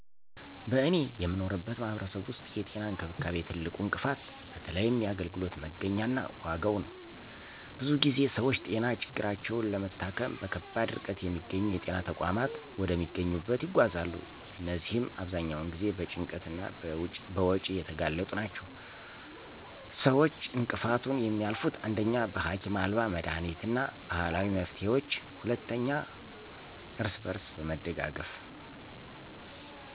በእኔ የምኖርበት ማህበረሰብ ውስጥ የጤና እንክብካቤ ትልቁ እንቅፋት በተለይም የአገልግሎት መገኛ እና ዋጋ ነው። ብዙ ጊዜ ሰዎች ጤና ችግራቸውን ለመታከም በከባድ ርቀት የሚገኙ የጤና ተቋማት ወደሚያገኙበት ይጓዛሉ እነዚህም አብዛኛውን ጊዜ በጭንቀት እና በወጪ የተጋለጡ ናቸው። ሰዎች እንቅፋቱን የሚያልፉት: 1. በሀኪም አልባ መድኃኒት እና ባህላዊ መፍትሄዎች 2. እርስ በርስ በመደጋገፍ